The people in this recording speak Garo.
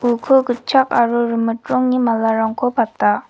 uko gitchak aro rimit rongni malarangko pata.